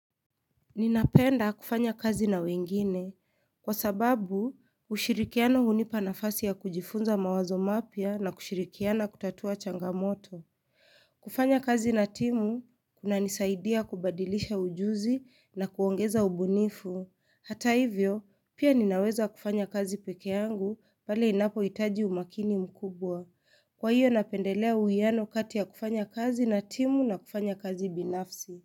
Ninapenda kufanya kazi na wengine. Kwa sababu, ushirikiano hunipa nafasi ya kujifunza mawazo mapya na kushirikiana kutatua changamoto. Kufanya kazi na timu, kunanisaidia kubadilisha ujuzi na kuongeza ubunifu. Hata hivyo, pia ninaweza kufanya kazi peke yangu pale inapoitaji umakini mkubwa. Kwa hiyo napendelea uwiano kati ya kufanya kazi na timu na kufanya kazi binafsi.